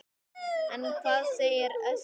En hvað segir Össur?